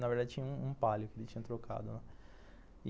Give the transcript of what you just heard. Na verdade tinha um Palio que ele tinha trocado.